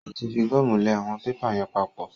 Ó tí fi gọ́mù lẹ àwọn pépà yẹn pap.